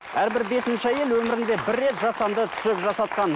әрбір бесінші әйел өмірінде бір рет жасанды түсік жасатқан